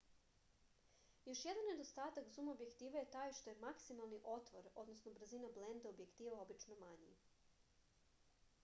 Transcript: још један недостатак зум објектива је тај што је максимални отвор брзина бленде објектива обично мањи